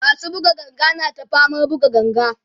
masu buga ganga na ta faman buga ganga